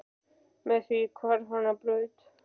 Með það hvarf hann á braut.